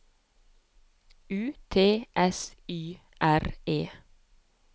U T S T Y R E